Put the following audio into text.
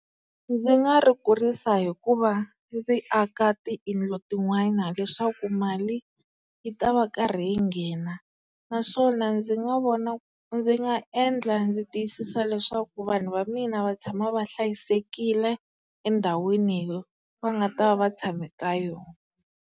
Ndzi nga ri kurisa hikuva ndzi aka tiyindlo tin'wana leswaku mali yi ta va karhi yi nghena naswona ndzi nga vona, ndzi nga endla ndzi tiyisisa leswaku vanhu va mina va tshama va hlayisekile endhawini va nga ta va va tshame eka yona.